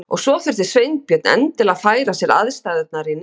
Og svo þurfti Sveinbjörn endilega að færa sér aðstæðurnar í nyt.